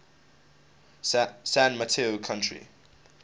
san mateo county